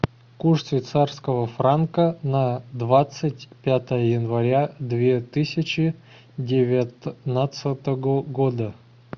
курс швейцарского франка на двадцать пятое января две тысячи девятнадцатого года